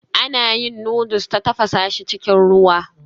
Ana yin noodles ta tafasa shi cikin ruwa